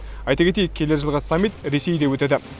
айта кетейік келер жылғы саммит ресейде өтеді